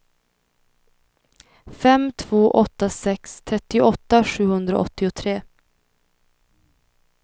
fem två åtta sex trettioåtta sjuhundraåttiotre